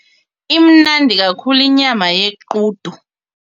Imnandi kakhulu inyama yequdu.